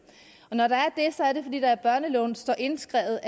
og det er børneloven står indskrevet